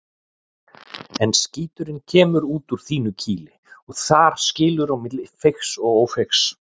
En skíturinn kemur út úr þínu kýli og þar skilur á milli feigs og ófeigs.